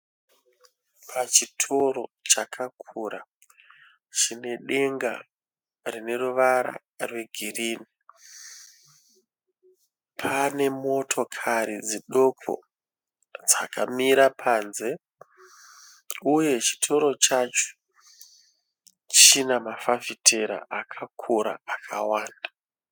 Pachitoro chakakura chinedenga rine ruvara rwegirinhi. Pane motokari dzidoko dzakamira panze uye chitoro chacho chine mafafitera akakura pakawanda.